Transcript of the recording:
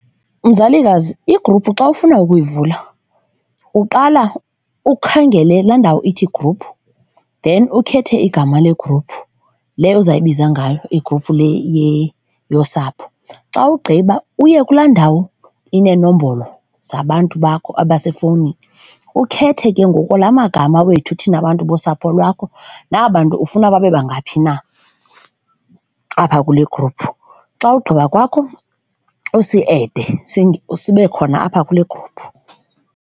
Mzalikazi igruphu xa ufuna ukuyivula uqala ukhangele laa ndawo ithi gruphu then ukhethe igama le gruphu, leyo uzayibiza ngalo igruphu le yosapho. Xa ugqiba uye kulaa ndawo ineenombolo zabantu bakho abasefowunini, ukhethe ke ngoku la magama wethu thina abantu bosapho lwakho naba bantu ufuna babe bangaphi na apha kule egruphu. Xa ugqiba kwakho usiede sibe khona apha kule gruphu.